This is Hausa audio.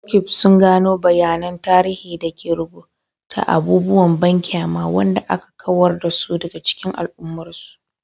Roqeeb sun gano bayanan tarihi da ke rubuta abubuwan banƙyama waɗanda aka kawar da su daga cikin al'ummarsu.